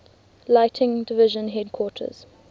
lighting division headquarters